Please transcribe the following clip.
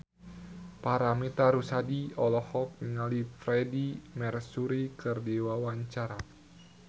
Paramitha Rusady olohok ningali Freedie Mercury keur diwawancara